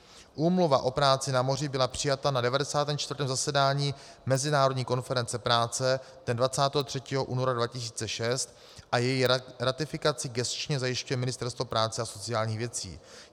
Úmluva o práci na moři byla přijata na 94. zasedání Mezinárodní konference práce dne 23. února 2006 a její ratifikaci gesčně zajišťuje Ministerstvo práce a sociálních věcí.